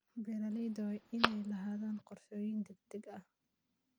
Beeralayda waa inay lahaadaan qorshooyin degdeg ah.